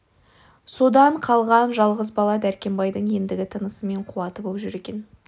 содан қалған жалғыз бала дәркембайдың ендігі тынысы мен қуаты боп жүр екен